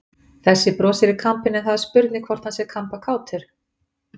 Þessi brosir í kampinn en það er spurning hvort hann sé kampakátur!